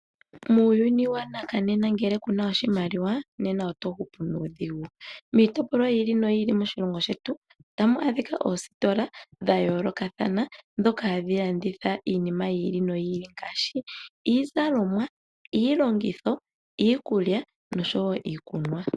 Muuyuni wanakanena ngele kuna oshimaliwa nena oto hupu nuudhigu. Miitopolwa yi ili noyi ili moshilongo shetu otamu adhika oositola dha yoolokathana, ndhika hadhi landitha iinima yi ili noyi ili ngaashi iizalomwa, iilongitho, iikulya noshowo iikunwa.